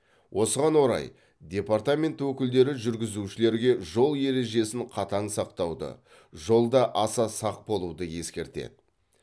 осыған орай департамент өкілдері жүргізушілерге жол ережесін қатаң сақтауды жолда аса сақ болуды ескертеді